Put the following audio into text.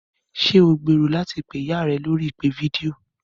Ṣé o gbèrò láti pé ìyá rẹ lórí ìpè fídíò?